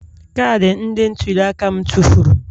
Kaadị ndị ntuli aka m tụfuru